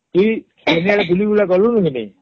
ତୁଇ ହମ୍ବୁଲି ବୁଲା ଗଲୁଣି କି ନାଇଁ